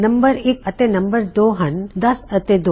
ਨੰਮ1 ਅਤੇ ਨੰਮ2 ਹਨ 10 ਅਤੇ 2